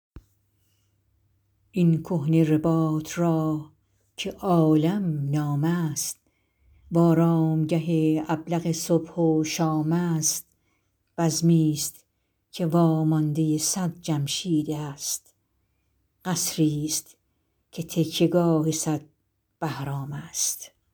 این کهنه رباط را که عالم نام است و آرامگه ابلق صبح و شام است بزمی ست که واماندۀ صد جمشید است قصری ست که تکیه گاه صد بهرام است